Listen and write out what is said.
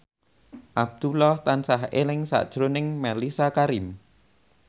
Abdullah tansah eling sakjroning Mellisa Karim